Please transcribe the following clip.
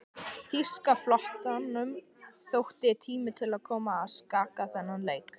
Þýska flotanum þótti tími til kominn að skakka þennan leik.